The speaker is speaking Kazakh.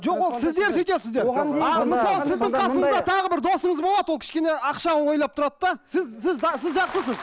жоқ ол сіздер сөйтесіздер ал мысалы сіздің қасыңызда тағы досыңыз болады ол кішкене ақша ойлап тұрады да сіз сіз сіз жақсысыз